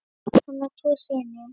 Hann á tvo syni.